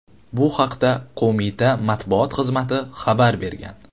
Bu haqda qo‘mita matbuot xizmati xabar bergan .